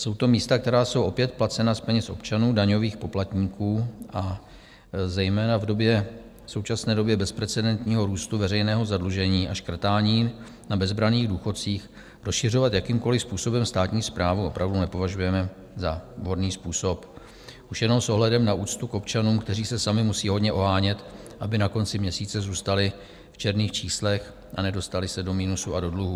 Jsou to místa, která jsou opět placena z peněz občanů, daňových poplatníků, a zejména v současné době bezprecedentního růstu veřejného zadlužení a škrtání na bezbranných důchodcích rozšiřovat jakýmkoliv způsobem státní správu opravdu nepovažujeme za vhodný způsob už jenom s ohledem na úctu k občanům, kteří se sami musí hodně ohánět, aby na konci měsíce zůstali v černých číslech a nedostali se do minusu a do dluhů.